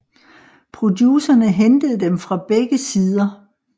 Producerne hentede dem fra begge sider